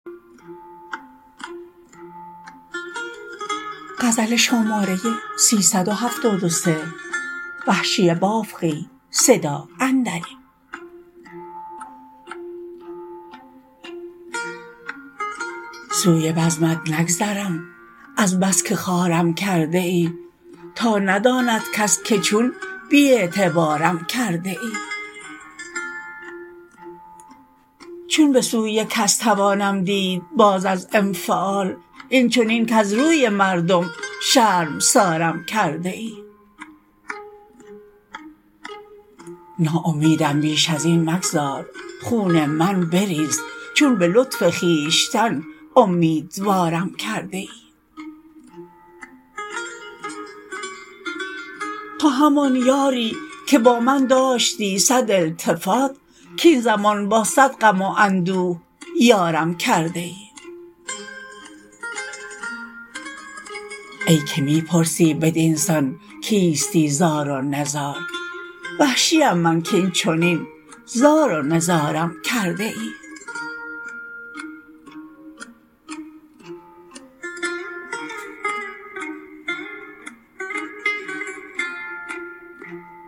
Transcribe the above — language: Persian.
سوی بزمت نگذرم از بس که خوارم کرده ای تا نداند کس که چون بی اعتبارم کرده ای چون بسوی کس توانم دید باز از انفعال اینچنین کز روی مردم شرمسارم کرده ای ناامیدم بیش از این مگذار خون من بریز چون به لطف خویشتن امیدوارم کرده ای تو همان یاری که با من داشتی صد التفات کاین زمان با صد غم و اندوه یارم کرده ای ای که می پرسی بدینسان کیستی زار و نزار وحشیم من کاینچنین زار و نزارم کرده ای